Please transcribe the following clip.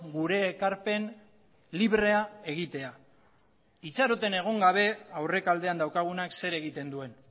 gure ekarpen librea egitea itxaroten egon gabe aurrekaldean daukagunak zer egiten duen